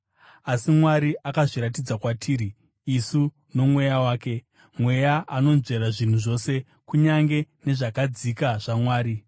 Asi Mwari akazviratidza kwatiri isu noMweya wake. Mweya anonzvera zvinhu zvose, kunyange nezvakadzika zvaMwari.